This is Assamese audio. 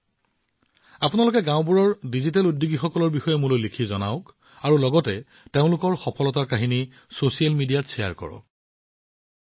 আপোনালোকে মোক গাওঁবোৰৰ ডিজিটেল উদ্যোগীসকলৰ বিষয়ে যিমান সম্ভৱ সিমান বাৰ্তা প্ৰেৰণ কৰা উচিত আৰু তেওঁলোকৰ সফলতাৰ কাহিনী সামাজিক মাধ্যমতো ভাগবতৰা কৰা উচিত